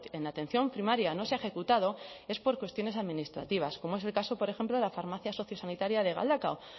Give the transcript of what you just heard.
en atención primaria no se ha ejecutado es por cuestiones administrativas como es el caso por ejemplo de la farmacia sociosanitaria de galdakao